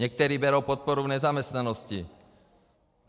Někteří berou podporu v nezaměstnanosti.